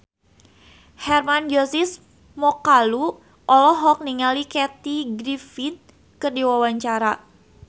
Hermann Josis Mokalu olohok ningali Kathy Griffin keur diwawancara